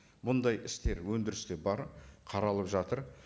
бұндай істер өндірісте бар қаралып жатыр